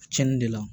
Cɛnni de la